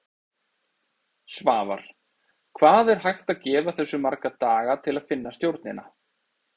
Svavar: Hvað er hægt að gefa þessu marga daga til að finna stjórnina?